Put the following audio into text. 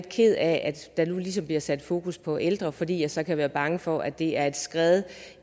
ked af at der nu ligesom bliver sat fokus på ældre fordi jeg så kan være bange for at det er et skred